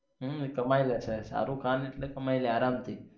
હમ કમાઈ લે છે શારુખખાન કામ એટલે કમાઈ લે આરામ થી